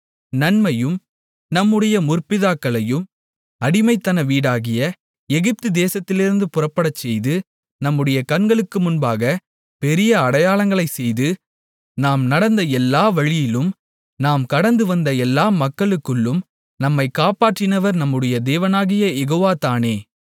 நம்மையும் நம்முடைய முற்பிதாக்களையும் அடிமைத்தன வீடாகிய எகிப்து தேசத்திலிருந்து புறப்படச்செய்து நம்முடைய கண்களுக்கு முன்பாகப் பெரிய அடையாளங்களைச் செய்து நாம் நடந்த எல்லா வழியிலும் நாம் கடந்து வந்த எல்லா மக்களுக்குள்ளும் நம்மைக் காப்பாற்றினவர் நம்முடைய தேவனாகிய யெகோவா தானே